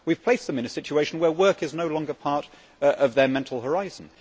We have placed them in a situation where work is no longer part of their mental horizon.